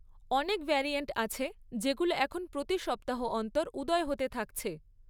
অনেক ভ্যারিয়েন্ট আছে যেগুলো এখন প্রতি সপ্তাহ অন্তর উদয় হতে থাকছে।